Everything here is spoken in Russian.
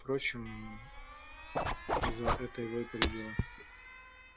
впрочем за это его и полюбила